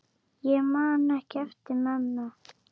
Ég man ekki eftir mömmu.